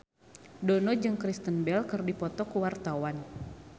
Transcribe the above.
Dono jeung Kristen Bell keur dipoto ku wartawan